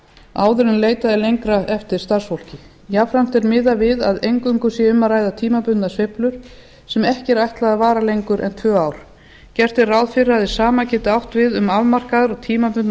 leitað er lengra eftir starfsfólki jafnframt er miðað við að eingöngu sé um að ræða tímabundnar sveiflur sem ekki er ætlað að vara lengur en tvö ár gert er ráð fyrir að hið sama geti átt við um afmarkaðar og tímabundnar